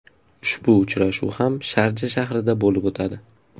Ushbu uchrashuv ham Sharja shahrida bo‘lib o‘tadi.